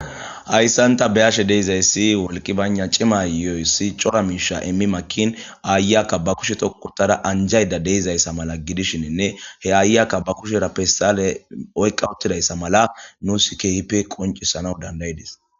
Hayssanta beashe deizayssi wolqi bana cima yoyssi cora miisha immi makin aayakka ba kushe tokutada anjayda deizayssa mala gidishininne he aayakka ba kusherappessale oyqqa uttidayssa mala nu sikhipe qoncissana dandayidis.